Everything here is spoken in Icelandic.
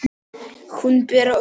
Hún, Bera, dró úr.